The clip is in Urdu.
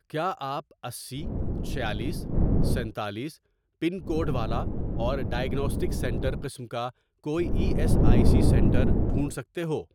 کیا آپ اسی، چھیالیس، سینتالیس، پن کوڈ والا اور ڈائیگناسٹک سینٹر قسم کا کوئی E S I C centre ڈھونڈ سکتے ہو؟